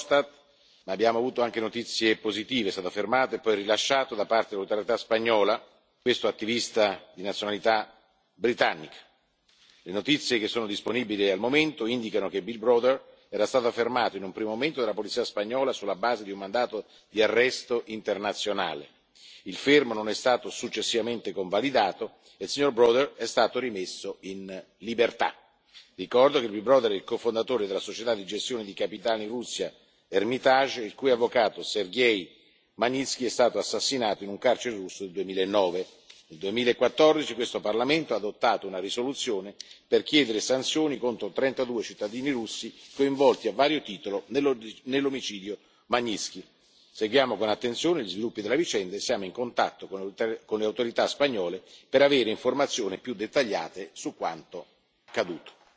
Verhofstadt, ma abbiamo avuto anche notizie positive, è stato fermato e poi rilasciato da parte delle autorità spagnole questo attivista di nazionalità britannica. Le notizie che sono disponibili al momento indicano che Bill Browder era stato fermato in un primo momento dalla polizia spagnola sulla base di un mandato di arresto internazionale, il fermo non è stato successivamente convalidato e Bill Browder è stato rimesso in libertà. Ricordo che Bill Browder è il cofondatore della società di gestione di capitali russa Hermitage, il cui avvocato Sergej Magnitskij è stato assassinato in un carcere russo nel 2009. Nel 2014 questo Parlamento ha adottato una risoluzione per chiedere sanzioni contro trentadue cittadini russi coinvolti a vario titolo nell'omicidio Magnitskij. Seguiamo con attenzione gli sviluppi della vicenda e siamo in contatto con le autorità spagnole per avere informazioni più dettagliate su quanto accaduto.